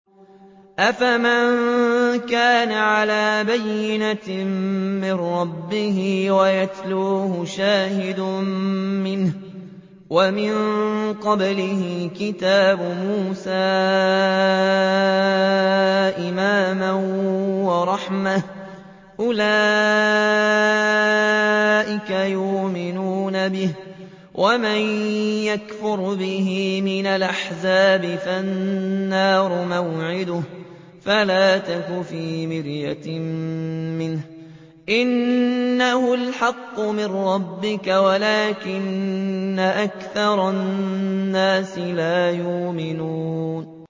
أَفَمَن كَانَ عَلَىٰ بَيِّنَةٍ مِّن رَّبِّهِ وَيَتْلُوهُ شَاهِدٌ مِّنْهُ وَمِن قَبْلِهِ كِتَابُ مُوسَىٰ إِمَامًا وَرَحْمَةً ۚ أُولَٰئِكَ يُؤْمِنُونَ بِهِ ۚ وَمَن يَكْفُرْ بِهِ مِنَ الْأَحْزَابِ فَالنَّارُ مَوْعِدُهُ ۚ فَلَا تَكُ فِي مِرْيَةٍ مِّنْهُ ۚ إِنَّهُ الْحَقُّ مِن رَّبِّكَ وَلَٰكِنَّ أَكْثَرَ النَّاسِ لَا يُؤْمِنُونَ